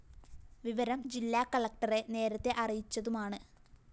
വിവരം ജില്ലാ കളക്ടറെ നേരത്തെ അറിയിച്ചതുമാണ്